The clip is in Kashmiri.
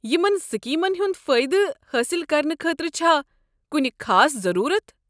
یمن سکیمن ہُنٛد فٲیدٕ حٲصل کرنہٕ خٲطرٕ چھا کنہِ خاص ضٔروٗرت؟